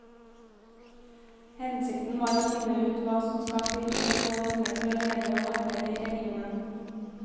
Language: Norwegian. Hensikten var å finne ut hva som skal til for å få de unge til å leve og arbeide i regionen.